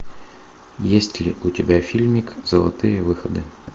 есть ли у тебя фильмик золотые выходы